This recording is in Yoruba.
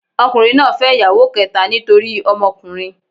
Ọkùnrin náà fẹ́ ìyàwó kẹ́ta nítorí ọmọkùnrin.